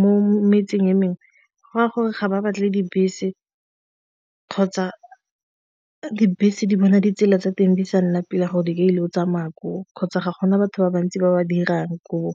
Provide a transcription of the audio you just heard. mo metseng e mengwe go raya gore ga ba batle di bese kgotsa dibese di bona ditsela tsa teng di sa nna pila gore ke ile o tsamayang koo kgotsa ga gona batho ba bantsi ba ba dirang koo.